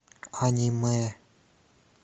аниме